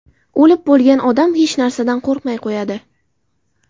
O‘lib bo‘lgan odam hech narsadan qo‘rqmay qo‘yadi.